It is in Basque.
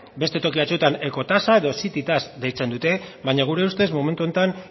beste toki batzuetan ecotasa edo city tax deitzen dute baina gure ustez momentu honetan